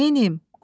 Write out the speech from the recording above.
Neyləyim?